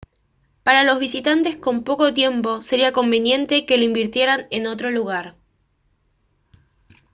para los visitantes con poco tiempo sería conveniente que lo invirtieran en otro lugar